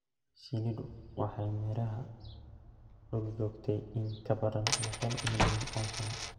Shinnidu waxay meeraha dul joogtay in ka badan boqol milyan oo sano.